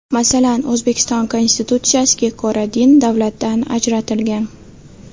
Masalan, O‘zbekiston Konstitutsiyasiga ko‘ra din davlatdan ajratilgan.